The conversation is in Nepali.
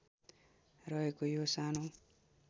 रहेको यो सानो